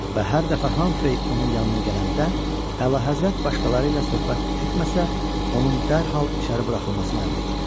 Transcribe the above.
Və hər dəfə Hamfrey onun yanına gələndə, əlahəzrət başqaları ilə söhbət etməsə, onun dərhal içəri buraxılmasını əmr eləyirdi.